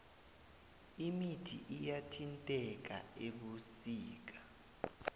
imithi iyathintheka ebusika